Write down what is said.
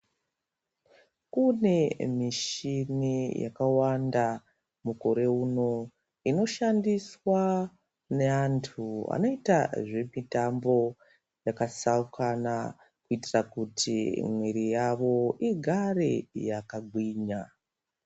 Kune mishini yakawanda mukore uno, inoshandiswa neantu anoita zvemitambo yakatsaukana, kuitira kuti mwiri yavo igare yakagwinya.